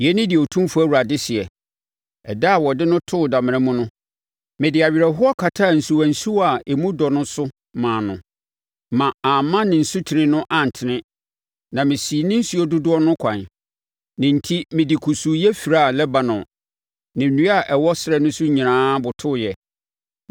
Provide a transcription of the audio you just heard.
“ ‘Yei ne deɛ Otumfoɔ Awurade seɛ: Ɛda a wɔde no too damena mu no, mede awerɛhoɔ kataa nsuwansuwa a emu dɔ no so maa no, ma amma ne asutene no antene, na mesii ne nsuo dodoɔ no ɛkwan. Ne enti mede kusuuyɛ firaa Lebanon, na nnua a ɛwɔ ɛserɛ no so nyinaa botooɛ.